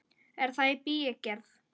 Er það í bígerð?